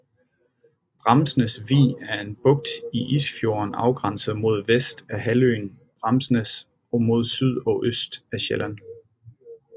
Bramsnæs Vig er en bugt i Isefjorden afgrænset mod vest af halvøen Bramsnæs og mod syd og øst af Sjælland